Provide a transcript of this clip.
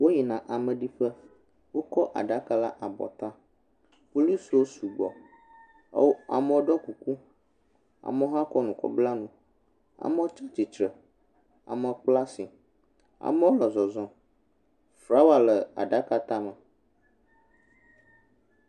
Wo yi na amediƒe wo kɔ aɖaka le abɔ ta polisi wo su gbɔ amewo dɔ kuku amewo hã kɔ nu kɔ bla nu amewo tsiatsitrɛ amewo kpla asi amewo le zɔzɔm flawa le aɖaka tã me.